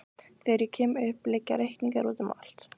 Þegar ég kem upp liggja reikningar úti um allt.